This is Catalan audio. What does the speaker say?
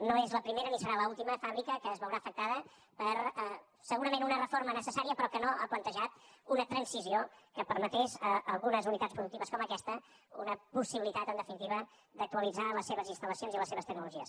no és la primera ni serà l’última fàbrica que es veurà afectada per segurament una reforma necessària però que no ha plantejat una transició que permetés a algunes unitats productives com aquesta una possibilitat en definitiva d’actualitzar les seves instal·lacions i les seves tecnologies